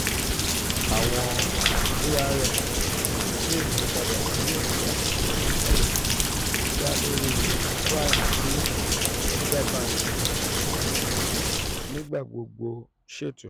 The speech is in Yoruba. awọn arm le yipada si oke ati isalẹ da lori prime t central banki nigbagbogbo ṣeto.